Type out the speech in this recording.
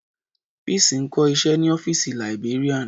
Peace ń kọ́ iṣẹ́ ní ọ́fìsì librarian.